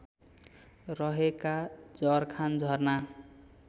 रहेका जरखान झरना